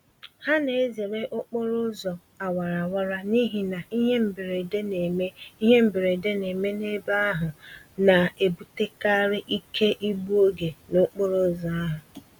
Ha na-ezere okporo ụzọ awara awara n'ihi na ihe mberede neme ihe mberede neme n'ebe ahụ na-ebutekarị ike igbu oge n'okporo ụzọ ahụ